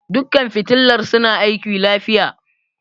Dukkan fitilar suna aiki lafiya.